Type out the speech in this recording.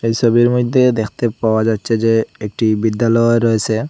এই ছবির মধ্যে দেখতে পাওয়া যাচ্ছে যে একটি বিদ্যালয় রয়েছে।